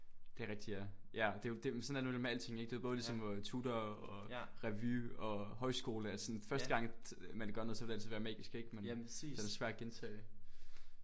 Det er rigtigt ja ja og det er jo det men sådan er det nemlig med alting ik det er både ligesom med tutor og revy og højskole altså sådan første gang man gør noget så vil det altid være magisk ik men det er svært at gentage det